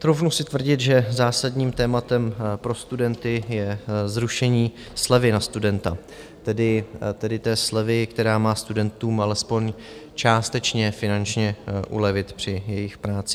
Troufnu si tvrdit, že zásadním tématem pro studenty je zrušení slevy na studenta, tedy té slevy, která má studentům alespoň částečně finančně ulevit při jejich práci.